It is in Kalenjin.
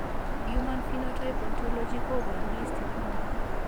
Human Phenotype Ontology koboru listit nebo